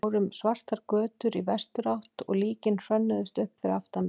Við fórum svartar götur í vesturátt og líkin hrönnuðust upp fyrir aftan mig.